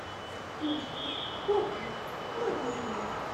включи бокм манимен